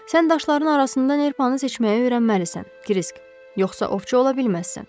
Sən daşların arasında nerpanı seçməyi öyrənməlisən, Krisk, yoxsa ovçu ola bilməzsən.